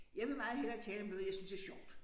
Jeg vil meget hellere tale om noget jeg synes er sjovt